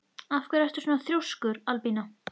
Af hverju ertu svona þrjóskur, Albína?